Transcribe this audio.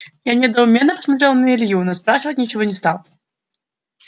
я недоуменно посмотрел на илью но спрашивать ничего не стал